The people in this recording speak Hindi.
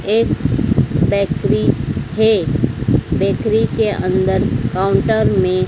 एक बेकरी है। बेकरी के अंदर काउंटर में--